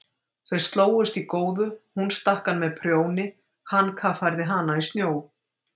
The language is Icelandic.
Þau slógust í góðu, hún stakk hann með prjóni, hann kaffærði hana í snjó.